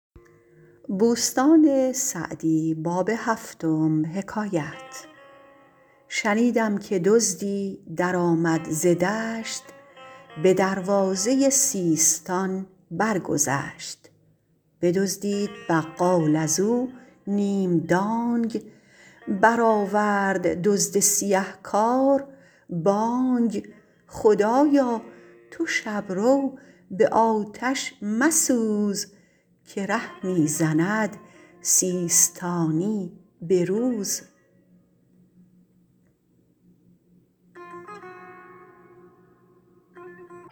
شنیدم که دزدی درآمد ز دشت به دروازه سیستان برگذشت بدزدید بقال از او نیم دانگ برآورد دزد سیه کار بانگ خدایا تو شب رو به آتش مسوز که ره می زند سیستانی به روز